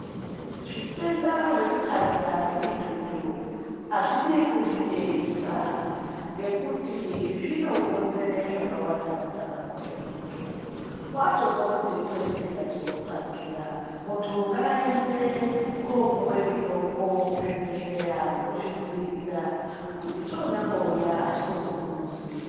Zvitenda zvekuparikira ngemitutu hazvidi kuzviyeisa. Ngekuti zvinokonzere zvakawanda mundaramo yemuntu. Vatozwe kuti kune chitenda chinoparikira muntu ngaende kopuva mitombo kuzvibhedhleya yekuzvidzirira kuti chonyambouya hachikuzungunusi.